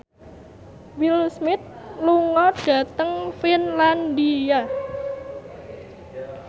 Will Smith lunga dhateng Finlandia